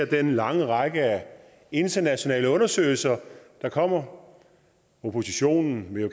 den lange række af internationale undersøgelser der kommer oppositionen vil